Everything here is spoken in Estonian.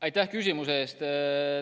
Aitäh küsimuse eest!